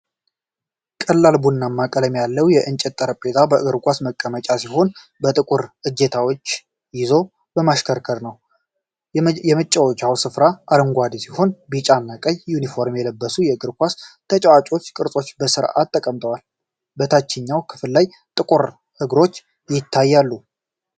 ቀላል ቡናማ ቀለም ያለው የእንጨት ጠረጴዛ የእግር ኳስ መጫወቻ ሲሆን፣ በጥቁር እጀታዎች ይዞ የሚሽከረከር ነው። የመጫወቻ ስፍራው አረንጓዴ ሲሆን ቢጫና ቀይ ዩኒፎርም የለበሱ የእግር ኳስ ተጫዋች ቅርጾች በስርዓት ተቀምጠዋል። በታችኛው ክፍል ላይ ጥቁር እግሮች ይታያሉ።